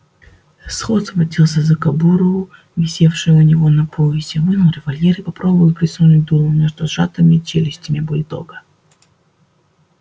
скотт схватился за кобуру висевшую у него на поясе вынул револьвер и попробовал просунуть дуло между сжатыми челюстями бульдога